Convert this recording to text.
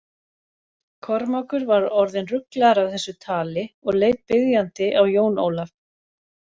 Kormákur var orðinn ruglaður af þessu tali og leit biðjandi á Jón Ólaf.